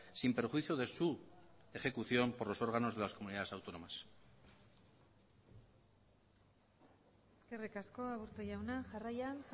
sin perjuicio de su ejecución por los órganos de las comunidades autónomas eskerrik asko aburto jauna jarraian